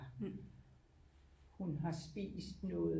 HUn har spist noget